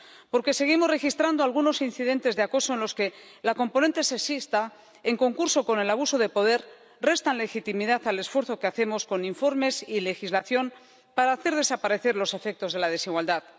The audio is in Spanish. porque seguimos registrando algunos incidentes de acoso en los que la componente sexista, junto con el abuso de poder, restan legitimidad al esfuerzo que hacemos con informes y legislación para hacer desaparecer los efectos de la desigualdad